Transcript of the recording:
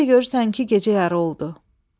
Bir də görürsən ki, gecə yarı oldu.